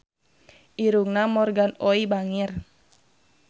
Irungna Morgan Oey bangir